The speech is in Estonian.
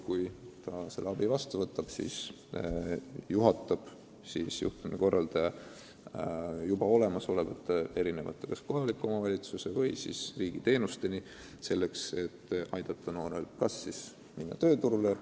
Kui ta aga abi vastu võtab, siis juhatab juhtumikorraldaja ta erinevate kohaliku omavalitsuse või riigi teenusteni, et aidata noorel tööd leida või tagasi kooli minna.